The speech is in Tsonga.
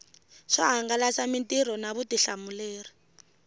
swo hangalasa mitirho na vutihlamuleri